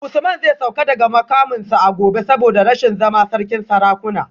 Usman zai sauka daga mukaminsa a gobe saboda rashin zama sarkin sarakuna